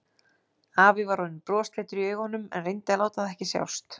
Afi var orðinn brosleitur í augunum en reyndi að láta það ekki sjást.